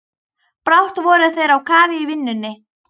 Brátt voru þeir á kafi í vinnunni.